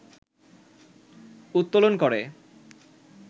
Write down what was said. উত্তোলন করে